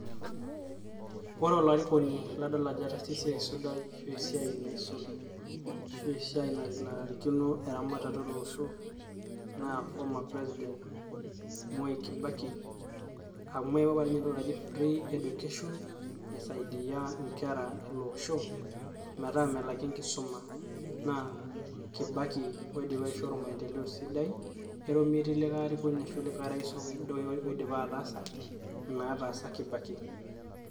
Ore olarikoni ladol ajo etaasa esia sidai ashuu esiai nasul ashuu esiai nanarikino eramatare ele osho naa former president Mwak kibaki amu eeyawua apa ninye entoki naii free education aisaidia inkera ele oosho metaa melaki enkisuma naa kibaki oidipa aishoru mapendeleo sidai eton metii likae Rais oidipa ataasa ina naataasa kibaki.